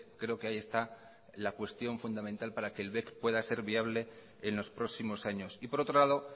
creo que ahí está la cuestión fundamental para que el bec pueda ser viable en los próximos años y por otro lado